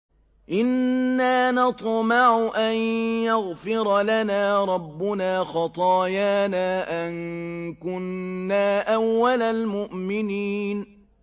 إِنَّا نَطْمَعُ أَن يَغْفِرَ لَنَا رَبُّنَا خَطَايَانَا أَن كُنَّا أَوَّلَ الْمُؤْمِنِينَ